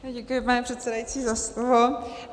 Děkuji, pane předsedající, za slovo.